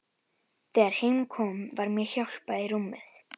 Þegar heim kom var mér hjálpað í rúmið.